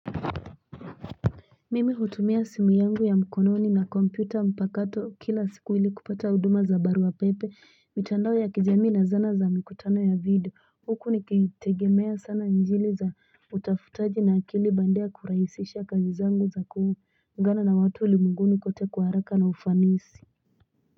Mimi hutumia simu yangu ya mkononi na kompyuta mpakato kila siku ili kupata huduma za baruapepe, mitandao ya kijamii na zana za mikutano ya video. Huku nikitegemea sana injili za utafutaji na akili bandia kurahisisha kazi zangu za kuungana na watu ulimwenguni kote kwa haraka na ufanisi.